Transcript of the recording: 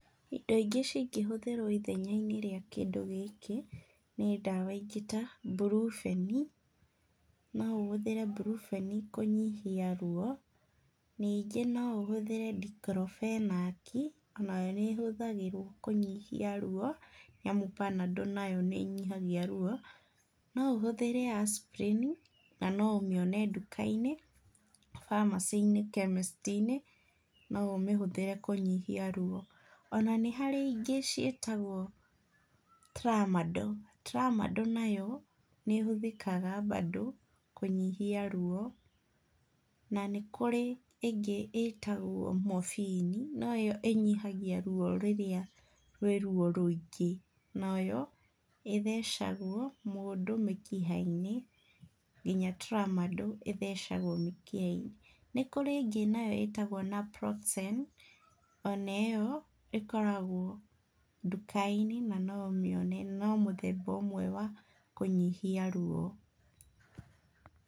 Indo ingĩ cingĩhũthĩrwo ithenya-inĩ rĩa kĩndũ gĩkĩ nĩ ndawa ingĩ ta Mburubeni. No ũhũthĩre Mburubeni kũnyihia ruo. Ningĩ no ũhũthĩre Ndikrobenaki, o na yo nĩ ĩhũthagĩrwo kũnyihia ruo nyamu, Panadol nayo nĩ ĩnyihagia ruo. No ũhũthĩra Asprini, na no ũmĩone nduka-inĩ, pharmacy-inĩ, chemist-inĩ, no ũmĩhũthĩre kũnyihia ruo. O na nĩ kũrĩ ingĩ ciĩtagwo Tramadol. Tramadol nayo nĩ ĩhũthĩkaga bado kũnyihia ruo. Na nĩ kũrĩ ĩngĩ ĩtagwo Morphine, no ĩyo ĩnyihagia ruo rĩria rwĩ ruo rũingĩ. Nayo ĩthecagwo mũndũ mĩkĩha-inĩ. Nginya Tramadol ĩthecagwo mĩkiha-inĩ. Nĩ kũrĩ ĩngĩ nayo ĩtagwo Naproxen, o na ĩyo ĩkoragwo nduka-inĩ na no ũmĩone. No mũthemba ũmwe wa kũnyihia ruo.